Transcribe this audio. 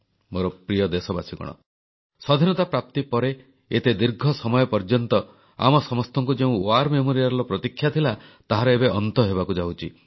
ମୋର ପ୍ରିୟ ଦେଶବାସୀଗଣ ସ୍ୱାଧୀନତା ପ୍ରାପ୍ତି ପରେ ଏତେ ଦୀର୍ଘ ସମୟ ପର୍ଯ୍ୟନ୍ତ ଆମ ସମସ୍ତଙ୍କୁ ଯେଉଁ ଯୁଦ୍ଧ ସ୍ମାରକୀର ପ୍ରତୀକ୍ଷା ଥିଲା ତାହାର ଏବେ ଅନ୍ତ ହେବାକୁ ଯାଉଛି